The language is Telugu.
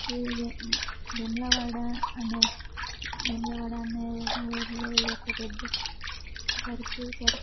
ఇది వేము-వేములవాడ అనే వేములవాడ అనే ఊరిలో ఇదొక పెద్ద సర్కిల్ సర్కిల్--